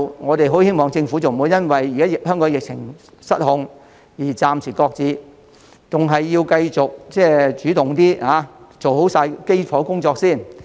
我們很希望政府不要因為現時香港的疫情失控，便暫時擱置健康碼，反而應該繼續主動做好基礎工作。